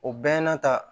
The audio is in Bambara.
O bɛɛ n'a ta